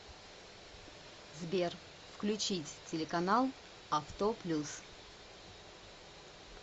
сбер включить телеканал авто плюс